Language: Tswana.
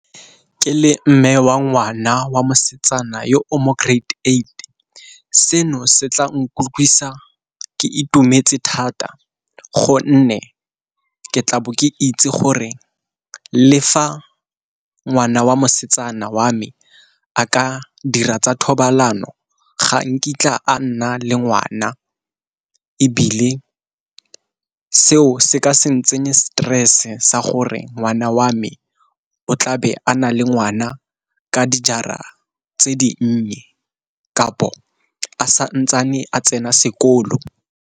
Ke le mme wa ngwana wa mosetsana yo o mo grade eight, seno se tla nkutlwisa ke itumetse thata gonne ke tla bo ke itse gore le fa ngwana wa mosetsana wa me a ka dira tsa thobalano ga nkitla a nna le ngwana. Ebile seo se ka se ntsenye stress-e sa gore ngwana wa me o tlabe a na le ngwana ka dijara tse di nnye, kapo a santsane a tsena sekolo.